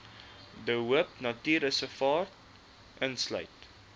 de hoopnatuurreservaat insluit